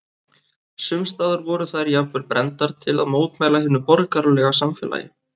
Sums staðar voru þær jafnvel brenndar til að mótmæla hinu borgaralega samfélagi.